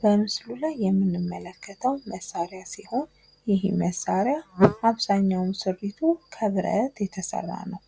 በምስሉ ላይ የምንመለከተው መሳሪያ ሲሆን ይህ መሳሪያ አብዛኛውን ስሪቱ ከብረት የተሰራ ነው።